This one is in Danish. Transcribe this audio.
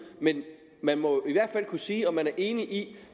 men man må jo i hvert fald kunne sige om man er enig i